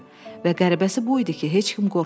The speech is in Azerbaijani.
Və qəribəsi bu idi ki, heç kim qorxmurdu.